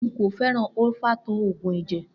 Nko feran olfato oogun eje.